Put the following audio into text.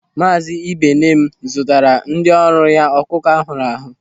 Maazi Ibeneme zụtara ndị ọrụ ya ọkụkọ ahụrụ ahụ.